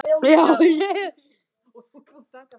Það er gamalt úr Heiðni!